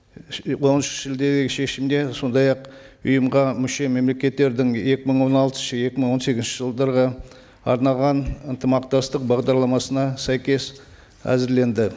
он үш шешімде сондай ақ ұйымға мүше мемлекеттердің екі мың он алтыншы екі мың он сегізінші жылдарға арналған ынтымақтастық бағдарламасына сәйкес әзірленді